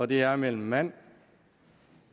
det er mellem mand